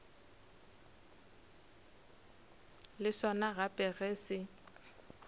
le sona gape ge se